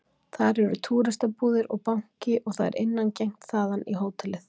Þar eru túristabúðir og banki og það er innangengt þaðan í hótelið